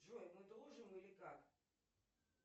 джой мы дружим или как